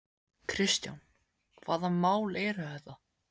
Kristján: Hvaða mál eru þetta?